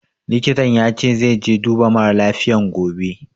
Likitan ya ce zai je duba mara lafiyan gobe